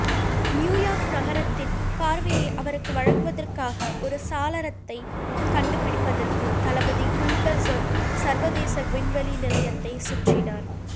New York நகரத்தின் பார்வையை அவருக்கு வழங்குவதற்காக ஒரு சாளரத்தை கண்டுபிடிப்பதற்கு தளபதி குல்பெர்சன் சர்வதேச விண்வெளி நிலையத்தைச் சுற்றினார்